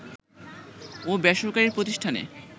ও বেসরকারি প্রতিষ্ঠানে